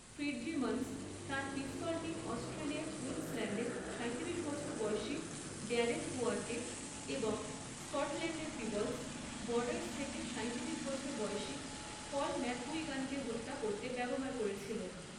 Fitzsimmons তাঁর পিস্তলটি অস্ট্রেলিয়ার কুইন্সল্যান্ডের সাঁইতিরিশ বছর বয়সী ড্যারেন হোয়ারকে এবং স্কটল্যান্ডের পিবলস, বর্ডারস থেকে সাঁইতিরিশ বছর বয়সী পল ম্যাকগুইগানকে হত্যা করতে ব্যবহার করেছিলেন।